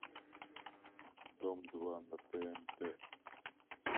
дом два на тнт